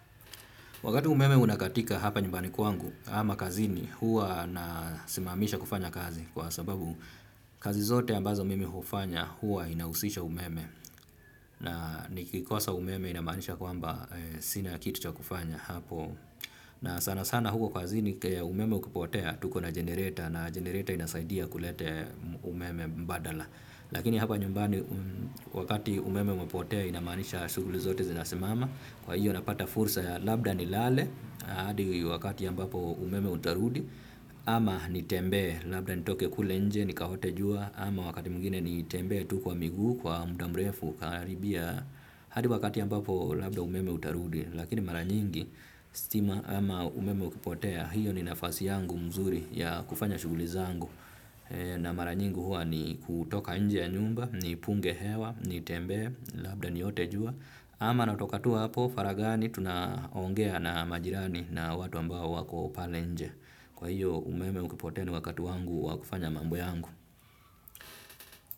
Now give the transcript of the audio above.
Wakati umeme unakatika hapa nyumbani kwangu ama kazini huwa nasimamisha kufanya kazi kwa sababu kazi zote ambazo mimi hufanya huwa inahusisha umeme na nikikosa umeme inamaanisha kwamba sina kitu cha kufanya hapo. Na sana sana huko kazini umeme ukipotea tuko na genereta na genereta inasaidia kulete umeme mbadala lakini hapa nyumbani wakati umeme umepotea inamaanisha shughuli zote zinasimama kwa hiyo napata fursa ya labda nilale hadi wakati ambapo umeme utarudi ama nitembee labda nitoke kule nje nikaotee jua ama wakati mjini nitembee tuko wa miguu kwa muda mrefu kukaribia hadi wakati ambapo labda umeme utarudi lakini mara nyingi stima ama umeme ukipotea hiyo ni nafasi yangu mzuri ya kufanya shughuli zangu na mara nyingi huwa ni kutoka nje ya nyumba nipunge hewa, nitembee, labda niote jua ama natokatua hapo faraghani tunaongea na majirani na watu ambao wako pale nje kwa hiyo umeme ukipotea ni wakati wangu wa kufanya mambo yangu.